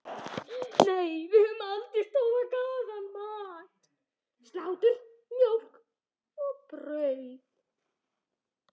Nei, við höfðum staðgóðan mat: Slátur, mjólk og brauð.